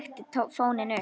Ég trekkti fóninn upp.